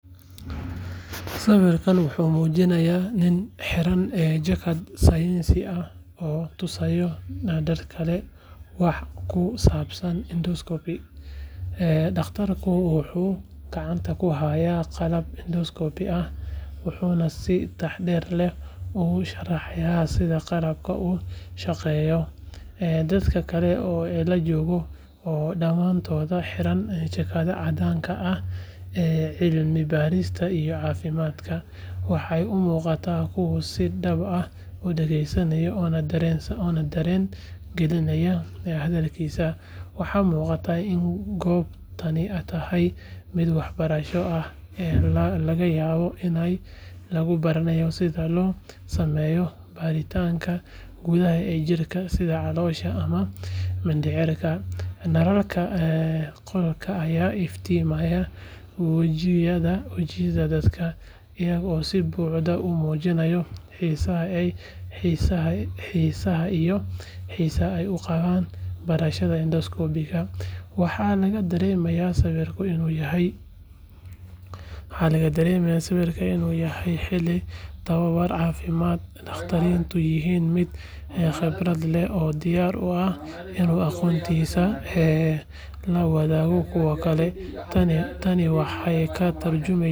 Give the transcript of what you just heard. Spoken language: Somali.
Sawirkan wuxuu muujinayaa nin xidhan jaakad saynis ah oo tusaya dad kale wax ku saabsan endoscopy. Dhakhtarku wuxuu gacanta ku hayaa qalab endoscope ah, wuxuuna si taxaddar leh ugu sharxayaa sida qalabkani u shaqeeyo. Dadka kale ee la jooga, oo dhammaantood xiran jaakadaha caddaanka ah ee cilmi-baarista iyo caafimaadka, waxay u muuqdaan kuwo si dhab ah u dhegeysanaya oo dareen gelinaya hadalkiisa. Waxaa muuqata in goobtani tahay mid waxbarasho ah, laga yaabo in lagu baranayo sida loo sameeyo baaritaanka gudaha ee jirka sida caloosha ama mindhicirka. Nalalka qolka ayaa iftiiminaya wejiyada dadka, iyagoo si buuxda u muujinaya xiisaha iyo xiisaha ay u qabaan barashada endoscopy-ga. Waxaa laga dareemayaa sawirka inuu yahay xilli tababar caafimaad, dhakhtarkuna yahay mid khibrad leh oo diyaar u ah inuu aqoontiisa la wadaago kuwa kale. Tani waxay ka tarjumaysaa.